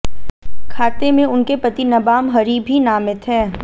खाते में उनके पति नबाम हरि भी नामित हैं